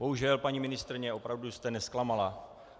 Bohužel, paní ministryně, opravdu jste nezklamala.